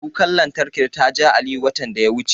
Kukar lantarkin ta ja Aliyu, watan da ya wuce.